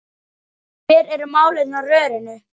Hver eru málin á rörinu?